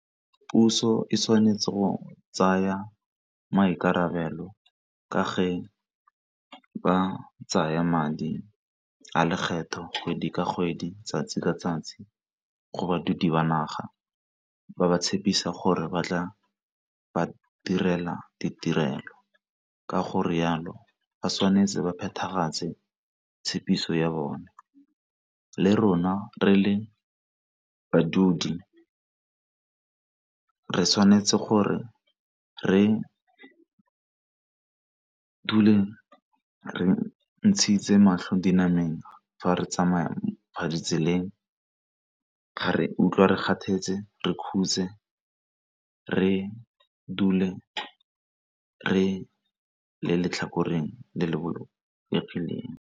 Puso e tshwanetse go tsaya maikarabelo ka fa ba tsaya madi a lekgetho kgwedi ka kgwedi, 'tsatsi ka 'tsatsi go baithuti ba naga ba ba tshepisa gore ba tla ba direla ditirelo. Ka gore jalo ba tshwanetse ba phethagatse tshepiso ya bone le rona re le badudi re tshwanetse gore re dule re ntshitse matlho dinameng fa re tsamaya ditseleng, re utlwa re kgathetse re khutse re dule re le letlhakoreng le le .